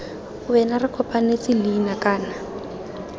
wena re kopanetse leina kana